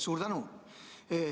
Suur tänu!